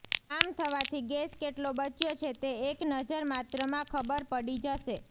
આમ થવાથી ગેસ કેટલો બચ્યો છે તે એક નજરમાત્રમાં ખબર પડી જશે